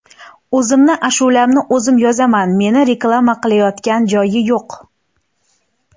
O‘zimni ashulamni o‘zim yozaman, meni reklama qilayotgan joyi yo‘q.